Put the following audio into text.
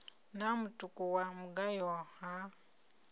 na mutuku wa mugayo ha